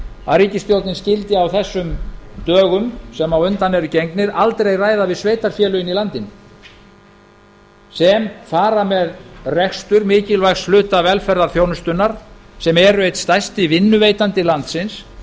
að ríkisstjórnin skyldi á þessum dögum sem á undan eru gengnir aldrei ræða við sveitarfélögin í landinu sem fara með rekstur mikilvægs hluta velferðarþjónustunnar sem eru einn stærsti vinnuveitandi landsins